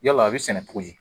Yala a bɛ sɛnɛ cogo di?